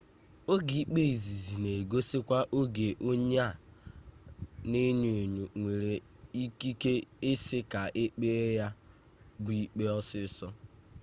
oge ikpe izizi na egosikwa oge onye a na enyo enyo nwere ikike isi ka ekpee ya bụ ikpe ọsịsọ